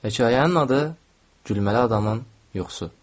Hekayənin adı "Gülməli adamın yuxusu".